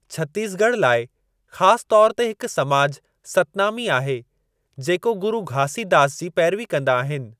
छत्तीसगढ़ लाइ ख़ासि तौर ते हिक समाज सतनामी आहे, जेको गुरु घासीदास जी पैरवी कंदा आहिनि।